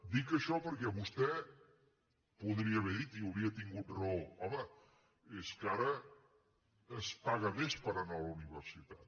dic això perquè vostè podria haver dit i hauria tingut raó home és que ara es paga més per anar a la universitat